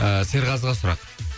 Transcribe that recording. ыыы серғазыға сұрақ